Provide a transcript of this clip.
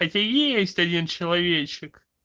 хотя есть один человечек